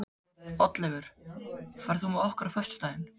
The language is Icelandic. Oddleifur, ferð þú með okkur á föstudaginn?